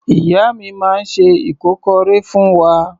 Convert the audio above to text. Ìyá mi máa ń se ìkọ́kọrẹ́ fún wa.